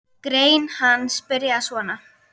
Grein hans byrjaði svona